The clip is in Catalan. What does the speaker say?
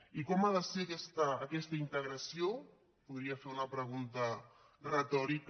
i com ha de ser aquesta integració podria ser una pregunta retòrica